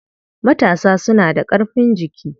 Matasa suna da ƙarfin jiki.